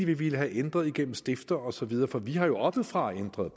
de ville have ændret gennem stifter og så videre for vi har jo oppefra ændret